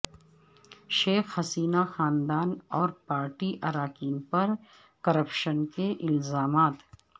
شیخ حسینہ خاندان اور پارٹی اراکین پر کرپشن کے الزامات